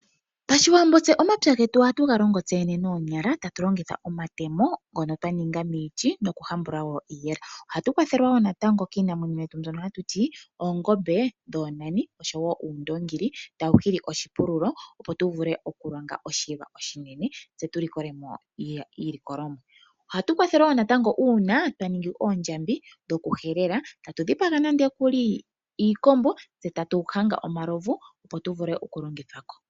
Pashiwambo omapya getu ohatu ga longo noonyala tatu longitha omatemo ngono twa ninga miiti nokuhambula wo iiyela. Ohatu kwathelwa wo natango kiinamwenyo yetu mbyono hatu ti oongombe dhoonani oshowo uundoongi tawu hili oshipululo, opo tu vule okulonga oshiwa oshinene tse tu vule iilikolomwa. Ohatu kwathelwa wo uuna twa ningi oondjambi dhokuhelela, tatu dhipaga nande iikombo, tse tatu hanga omalovu tu vule okulongithwa ko.